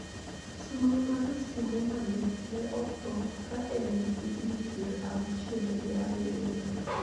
Sulwe mar sinemano ne otho ka en gi higni pier auchiel gi abiriyo